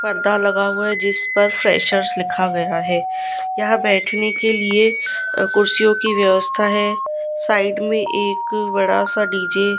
पर्दा लगा हुआ है जिस पर फ्रेशर्स लिखा गया है यहां बैठने के लिए कुर्सियों की व्यवस्था है साइड में एक बड़ा सा डी_जे --